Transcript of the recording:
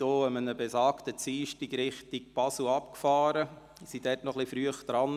An besagtem Dienstag fuhren wir Richtung Basel ab und waren etwas früh dran.